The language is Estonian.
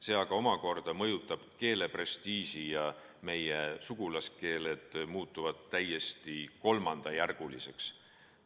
See omakorda mõjutab keele prestiiži ja meie sugulaskeeled muutuvad täiesti kolmandajärguliseks.